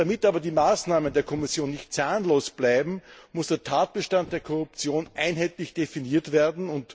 Damit aber die Maßnahmen der Kommission nicht zahnlos bleiben, muss der Tatbestand der Korruption einheitlich definiert werden.